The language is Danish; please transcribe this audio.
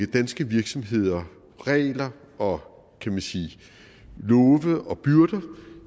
danske virksomheder regler og kan man sige love og byrder